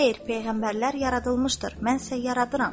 Xeyr, peyğəmbərlər yaradılmışdır, mən isə yaradıram.